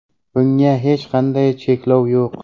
Bunga hech qanday cheklov yo‘q.